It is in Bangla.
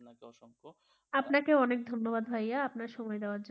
আপনাকেও অনেক ধন্যবাদ ভাইয়া আপনার সময় দেওয়ার জন্য,